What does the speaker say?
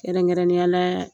Kɛrɛnkɛrɛnnenya la